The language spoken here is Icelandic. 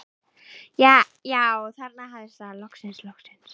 Já, þarna hafðist það, loksins, loksins.